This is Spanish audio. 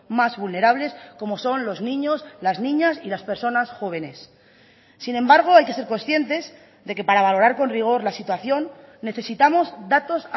más vulnerables como son los niños las niñas y las personas jóvenes sin embargo hay que ser conscientes de que para valorar con rigor la situación necesitamos datos